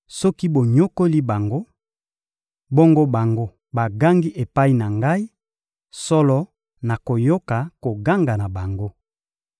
Soki bonyokoli bango, bongo bango bagangi epai na Ngai, solo nakoyoka koganga na bango.